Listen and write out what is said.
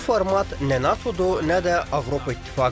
Bu format nə NATO-dur, nə də Avropa İttifaqı.